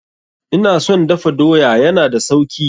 Ina son dafa doya, ya na da sauki.